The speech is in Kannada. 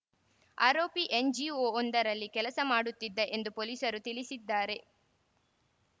ಆರೋಪಿ ಎನ್‌ಜಿಒವೊಂದರಲ್ಲಿ ಕೆಲಸ ಮಾಡುತ್ತಿದ್ದ ಎಂದು ಪೊಲೀಸರು ತಿಳಿಸಿದ್ದಾರೆ